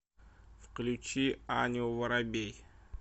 включи аню воробей